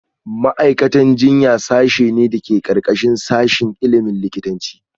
Ma’aikatan jinya sashe ne da ke ƙarƙashin sashin ilimin likitanci